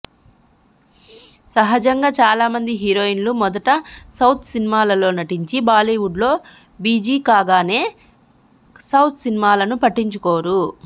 సహజంగా చాలామంది హీరోయిన్లు మొదట సౌత్ సినిమాలలో నటించి బాలీవుడ్లో బిజీ కాగానే సౌత్ సినిమాలను పట్టించుకోరు